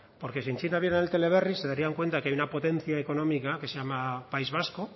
porque si en china vieran el teleberri se darían cuenta de que hay una potencia económica que se llama país vasco